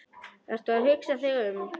Ertu að hugsa þig um?